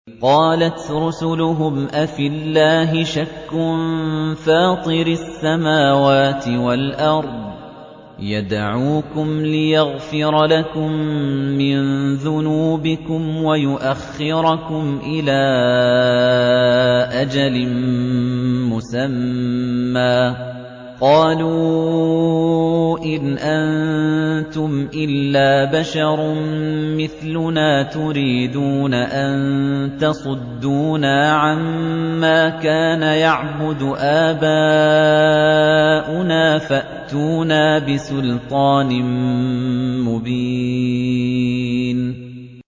۞ قَالَتْ رُسُلُهُمْ أَفِي اللَّهِ شَكٌّ فَاطِرِ السَّمَاوَاتِ وَالْأَرْضِ ۖ يَدْعُوكُمْ لِيَغْفِرَ لَكُم مِّن ذُنُوبِكُمْ وَيُؤَخِّرَكُمْ إِلَىٰ أَجَلٍ مُّسَمًّى ۚ قَالُوا إِنْ أَنتُمْ إِلَّا بَشَرٌ مِّثْلُنَا تُرِيدُونَ أَن تَصُدُّونَا عَمَّا كَانَ يَعْبُدُ آبَاؤُنَا فَأْتُونَا بِسُلْطَانٍ مُّبِينٍ